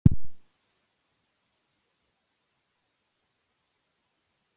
Sól og blíða hérna í eyjum, frábært veður til að spila fótbolta.